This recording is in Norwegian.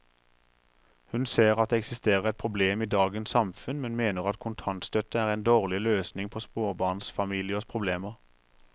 Hun ser at det eksisterer et problem i dagens samfunn, men mener at kontantstøtte er en dårlig løsning på småbarnsfamiliers problemer.